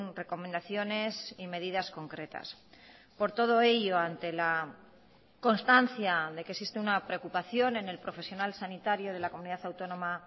recomendaciones y medidas concretas por todo ello ante la constancia de que existe una preocupación en el profesional sanitario de la comunidad autónoma